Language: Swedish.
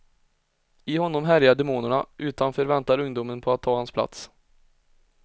I honom härjar demonerna, utanför väntar ungdomen på att ta hans plats.